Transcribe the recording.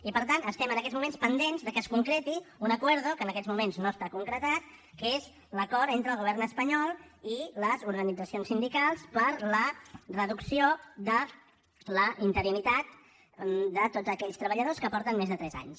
i per tant estem en aquests moments pendents de que es concreti un acuerdo que en aquests moments no està concretat que és l’acord entre el govern espanyol i les organitzacions sindicals per a la reducció de la interinitat de tots aquells treballadors que porten més de tres anys